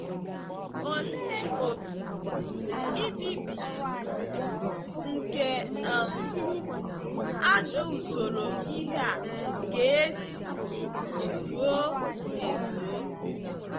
Olee otú mbibi nke um ajọ usoro ihe a ga-esi zuo ezuo?